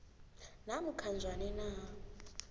namkha njani na